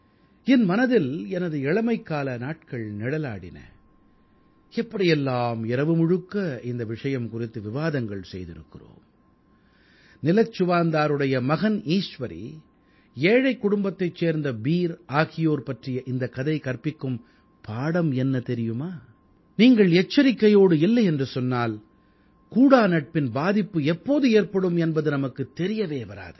என் மனதில் எனது இளமைக்கால நாட்கள் நிழலாடின எப்படி எல்லாம் இரவு முழுக்க இந்த விஷயம் குறித்து விவாதங்கள் செய்திருக்கிறோம் நிலச்சுவான்தாருடைய மகன் ஈசுவரி ஏழைக் குடும்பத்தைச் சேர்ந்த பீர் ஆகியோர் பற்றிய இந்தக் கதை கற்பிக்கும் பாடம் என்ன தெரியுமா நீங்கள் எச்சரிக்கையோடு இல்லையென்று சொன்னால் கூடாநட்பின் பாதிப்பு எப்போது ஏற்படும் என்பது நமக்குத் தெரியவே வராது